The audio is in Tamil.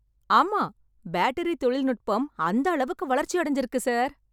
ஆமா, பேட்டரி தொழில்நுட்பம் அந்த அளவுக்கு வளர்ச்சி அடஞ்சிருக்கு சார்